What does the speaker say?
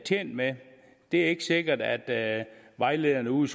tjent med det er ikke sikkert at vejlederne ude